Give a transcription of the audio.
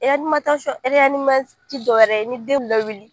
ti dɔwɛrɛ ye ni den bi lawuli.